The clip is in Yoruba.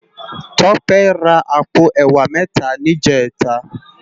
Tope rá àpó èwá mètá nijètá